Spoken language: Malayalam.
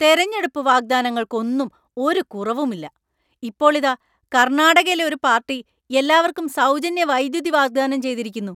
തെരഞ്ഞെടുപ്പ് വാഗ്ദാനങ്ങളൊക്കൊന്നും ഒരു കുറവും ഇല്ല; ഇപ്പോൾ ഇതാ കർണാടകയിലെ ഒരു പാർട്ടി എല്ലാവർക്കും സൗജന്യ വൈദ്യുതി വാഗ്ദാനം ചെയ്തിരിക്കുന്നു!